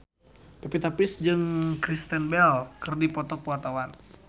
Pevita Pearce jeung Kristen Bell keur dipoto ku wartawan